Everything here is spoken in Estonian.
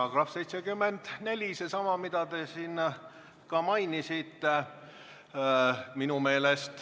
§ 74, seesama, mida te siin mainisite.